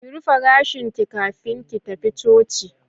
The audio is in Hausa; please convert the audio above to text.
Ki rufe gashin ki kafin ki tafi Coci